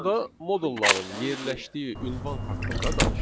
Sonda modulların yerləşdiyi ünvan haqqında danışaq.